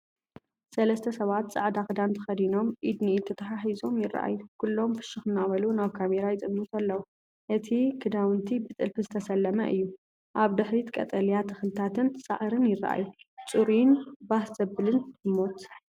ሰለስተ ሰባት ጻዕዳ ክዳን ተኸዲኖም ኢድ ንኢድ ተተሓሒዞም ይረኣዩ። ኩሎም ፍሽኽ እናበሉ ናብ ካሜራ ይጥምቱ ኣለዉ። እቲ ክዳውንቲ ብጥልፊ ዝተሰለመ እዩ። ኣብ ድሕሪት ቀጠልያ ተኽልታትን ሳዕርን ይረኣዩ። ጽሩይን ባህ ዘብልን ህሞት።